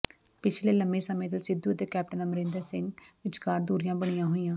ਪਿਛਲੇ ਲੰਮੇ ਸਮੇਂ ਤੋਂ ਸਿੱਧੂ ਅਤੇ ਕੈਪਟਨ ਅਮਰਿੰਦ ਸਿੰਘ ਵਿਚਕਾਰ ਦੂਰੀਆਂ ਬਣੀਆਂ ਹੋਈਆਂ